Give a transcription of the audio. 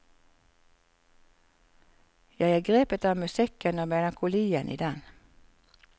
Jeg er grepet av musikken og melankolien i den.